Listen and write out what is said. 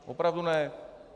Opravdu ne.